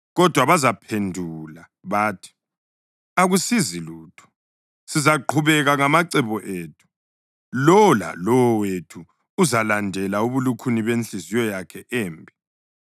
Kodwa bazaphendula bathi, ‘Akusizi lutho. Sizaqhubeka ngamacebo ethu; lowo lalowo wethu uzalandela ubulukhuni benhliziyo yakhe embi.’ ”